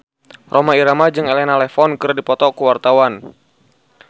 Rhoma Irama jeung Elena Levon keur dipoto ku wartawan